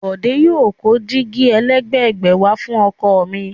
Bòdé yóò kó dígí ẹlẹ́gbẹ̀gbẹ̀ wà fún ọkọ̀ mi.